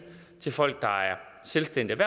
til folk der er selvstændigt